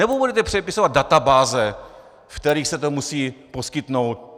Nebo budete předepisovat databáze, ve kterých se to musí poskytnout?